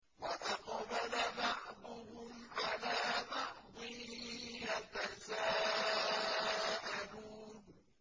وَأَقْبَلَ بَعْضُهُمْ عَلَىٰ بَعْضٍ يَتَسَاءَلُونَ